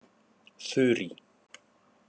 Þurí